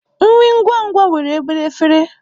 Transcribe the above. Nri ngwa ngwa nwere obere efere.